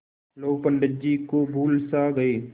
लोग पंडित जी को भूल सा गये